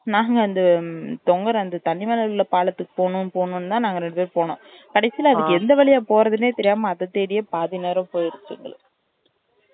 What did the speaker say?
நாங்க அந்த தொங்குற அந்த தண்ணி மேல உள்ள பாலத்துக்கு போணும் போணும் னு தான் நாங்க ரெண்டு பேரும் போனோம் கடைசீல அதுக்கு எந்த வழியா போறதுனே தெரியாம அத தேடியே பாதி நேரம் போயிருச்சு எங்களுக்கு